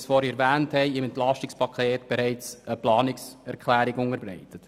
Dazu haben wir im Entlastungspaket bereits eine Planungserklärung unterbreitet.